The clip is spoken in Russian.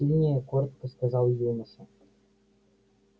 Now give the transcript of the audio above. сильнее коротко сказал юноша